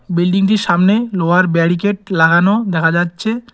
বিল্ডিংটির সামনে লোহার ব্যারিকেট লাগানো দেখা যাচ্ছে।